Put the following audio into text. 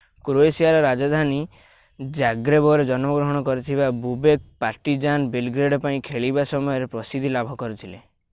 କ୍ରୋଏସିଆର ରାଜଧାନୀ ଜାଗ୍ରେବରେ ଜନ୍ମଗ୍ରହଣ କରିଥିବା ବୋବେକ୍ ପାର୍ଟିଜାନ୍ ବେଲଗ୍ରେଡ୍ ପାଇଁ ଖେଳିବା ସମୟରେ ପ୍ରସିଦ୍ଧି ଲାଭ କରିଥିଲେ